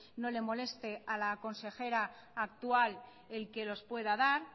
no le moleste a la consejera actual el que los pueda dar